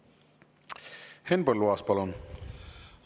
Henn Põlluaas, palun!